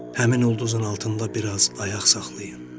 Həmin ulduzun altında biraz ayaq saxlayın.